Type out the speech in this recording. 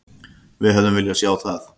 Við hefðum viljað sjá það.